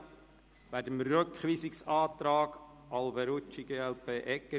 Wir befinden also über den Rückweisungsantrag Alberucci und Egger, glp.